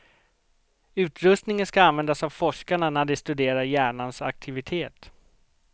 Utrustningen ska användas av forskarna när de studerar hjärnans aktivitet.